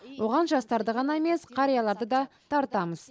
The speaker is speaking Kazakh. оған жастарды ғана емес қарияларды да тартамыз